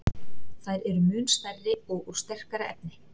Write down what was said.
Þær eru mun stærri og úr sterkara efni.